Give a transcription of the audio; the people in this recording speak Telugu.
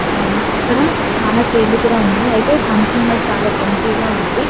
ఇక్కడ చాలా చైర్లు కూడా ఉన్నాయి అయితే ఫంక్షన్ హాల్ చాలా ఎంప్టీ ఉంది --